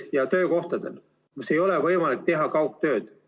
... ja töökohtadel, kus ei ole võimalik teha kaugtööd.